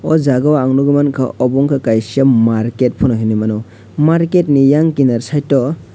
o jaga o nogoi mangka obo ungka kaisa market pono hinui mano market ni eyang kinar site o.